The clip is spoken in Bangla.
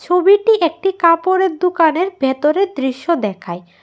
ছবিটি একটি কাপড়ের দুকানের ভেতরের দৃশ্য দেখায়।